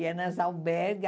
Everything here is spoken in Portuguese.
E é nas albergues.